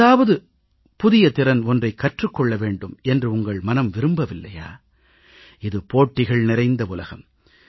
ஏதாவது புதிய ஒன்றைக் கற்றுக் கொள்ள வேண்டும் என்று உங்கள் மனம் விரும்பவில்லையா இது போட்டிகள் நிறைந்த உலகம்